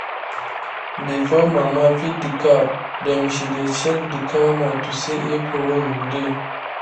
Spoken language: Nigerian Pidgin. before mama feed the cow dem she dey check the cow mouth to see if wound dey